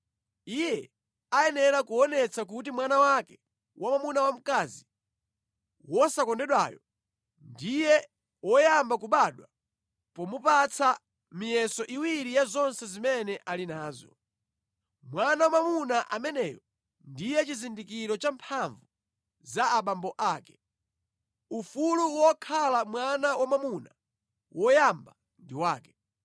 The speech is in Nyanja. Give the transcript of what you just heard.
Iye ayenera kuonetsa kuti mwana wake wamwamuna wa mkazi wosakondedwayo ndiye woyamba kubadwa pomupatsa miyeso iwiri ya zonse zimene ali nazo. Mwana wamwamuna ameneyo ndiye chizindikiro cha mphamvu za abambo ake. Ufulu wokhala mwana wamwamuna woyamba ndi wake.